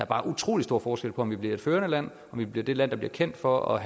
bare utrolig stor forskel på om vi bliver et førende land om vi bliver det land der bliver kendt for at